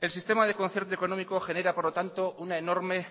el sistema de concierto económico genera por lo tanto una enorme